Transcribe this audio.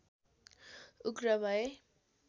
उग्र भए